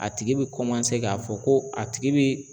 A tigi bɛ kɔmanse k'a fɔ ko a tigi bɛ